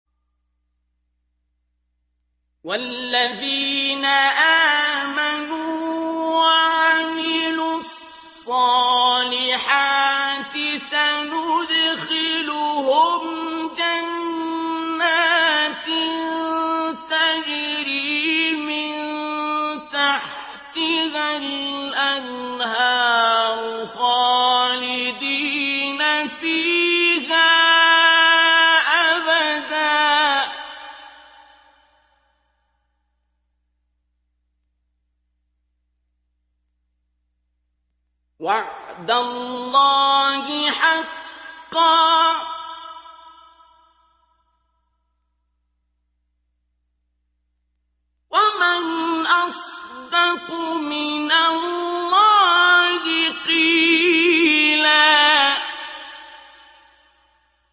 وَالَّذِينَ آمَنُوا وَعَمِلُوا الصَّالِحَاتِ سَنُدْخِلُهُمْ جَنَّاتٍ تَجْرِي مِن تَحْتِهَا الْأَنْهَارُ خَالِدِينَ فِيهَا أَبَدًا ۖ وَعْدَ اللَّهِ حَقًّا ۚ وَمَنْ أَصْدَقُ مِنَ اللَّهِ قِيلًا